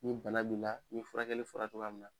Ni bana b'i la ni furakɛli fɔra togoya min na